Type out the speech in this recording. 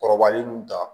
Kɔrɔbalen nunu ta